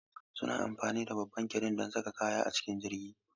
Suna amfani da babban kiren don saka kaya a cikin jirgi.